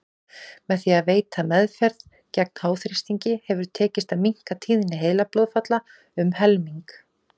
Með því að veita meðferð gegn háþrýstingi hefur tekist að minnka tíðni heilablóðfalla um helming.